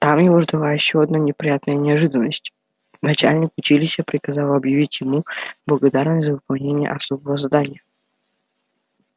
там его ждала ещё одна приятная неожиданность начальник училища приказал объявлял ему благодарность за выполнение особого задания